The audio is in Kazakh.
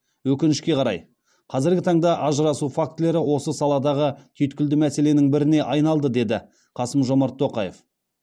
өкінішке қарай қазіргі таңда ажырасу фактілері осы саладағы түйткілді мәселенің біріне айналды деді қасым жормат тоқаев